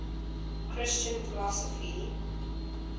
christian philosophy